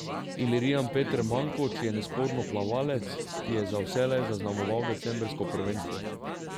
Ilirijan Peter Mankoč je nesporno plavalec, ki je za vselej zaznamoval decembrsko prvenstvo.